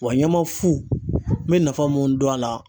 Wa ɲama fu bɛ nafa mun dɔn a la